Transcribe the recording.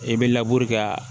I bɛ laburu kɛ